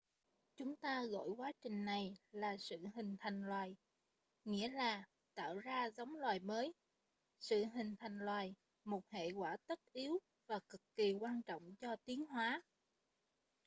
chúng ta gọi quá trình này là sự hình thành loài nghĩa là tạo ra giống loài mới sự hình thành loài một hệ quả tất yếu và cực kỳ quan trọng cho tiến hóa